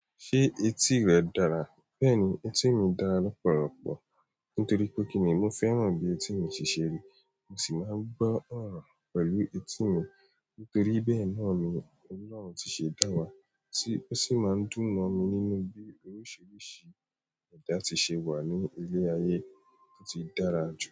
Ṣé etí rẹ dára? Bẹ́ẹ̀ni, etí mi dára lọ̀pọ̀lọpọ̀ nítorí pé kìní mo fẹ́ràn bí etí mi si ṣe ríi, mo sì máa ń gbọ́ ọ̀rọ̀ pẹ̀lú etí mi. Nítorí bẹ́ẹ̀ náà ni Ọlọ́run tí ṣe dá wa, ti ó sì máa ń dùn mo mí nínú bí oríṣiríṣi ẹ̀dá ti ṣe wà ní ilé ayé, ó ti dára ju.